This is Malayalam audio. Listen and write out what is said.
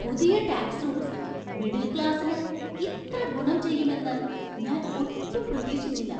പുതിയ ടാക്സ് റൂള്‍സ് മിഡില്‍ ക്ലാസിന് ഇത്ര ഗുണം ചെയ്യുമെന്ന് ഞാൻ ഒട്ടും പ്രതീക്ഷിച്ചില്ല.